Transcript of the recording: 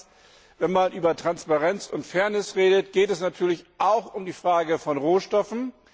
Zweitens Wenn man über Transparenz und Fairness redet, geht es natürlich auch um die Frage von Rohstoffen.